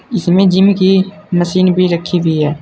इसमें जिम की मशीन भी रखी हुई है।